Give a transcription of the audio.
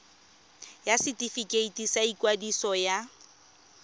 ya setefikeiti sa ikwadiso ya